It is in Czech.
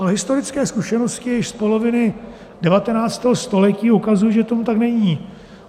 A historické zkušenosti již z poloviny 19. století ukazují, že tomu tak není.